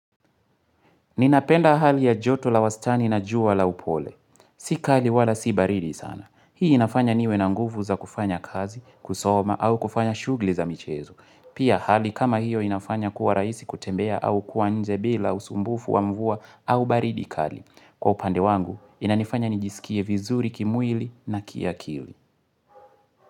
Ninapenda hali ya joto la wastani na juwa la upole. Sikali wala si baridi sana. Hii inafanya niwe na nguvu za kufanya kazi, kusoma, au kufanya shugli za michezo. Pia hali kama hiyo inafanya kuwa raisi kutembea au kuwa nje bila usumbufu wa mvua au baridi kali. Kwa upande wangu, inanifanya nijisikie vizuri kimwili na kia kili.